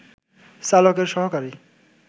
চালকের সহকারী